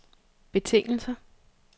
betingelser